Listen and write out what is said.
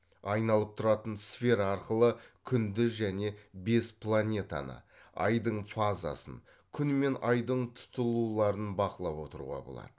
айналып тұратын сфера арқылы күнді және бес планетаны айдың фазасын күн мен айдың тұтылуларын бақылап отыруға болады